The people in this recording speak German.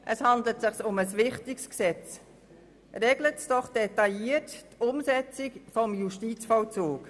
Es handelt sich um ein wichtiges Gesetz, regelt es doch detailliert die Umsetzung des Justizvollzugs.